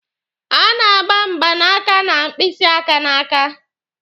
A na-agba mgbanaka na mkpịsị aka n'aka.